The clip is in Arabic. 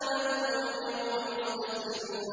بَلْ هُمُ الْيَوْمَ مُسْتَسْلِمُونَ